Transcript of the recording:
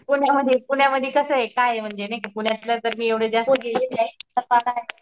बघण्यासारखाये तिथे आणि तिथं तिथलं वातावरण खूप चान्गलाये